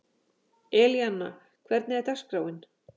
Elíanna, hvernig er dagskráin?